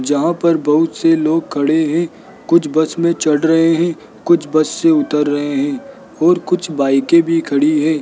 जहां पर बहुत से लोग खड़े हैं कुछ बस में चढ़ रहे हैं कुछ बस से उतर रहे हैं और कुछ बाइके भी खड़ी हैं।